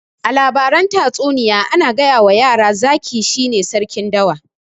A labaran tatsuniya ana gayawa yara zaki shine sarkin dawa